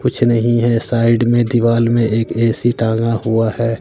कुछ नहीं है साइड मे दीवाल में एक ए_सी टांगा हुआ है।